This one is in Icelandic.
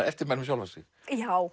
eftirmæli um sjálfa sig já